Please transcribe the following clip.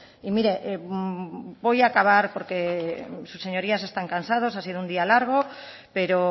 y mire voy a acabar porque sus señorías están cansados ha sido un día largo pero